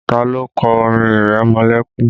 Ta ló kọ orin ìrẹmọlẹ́kún?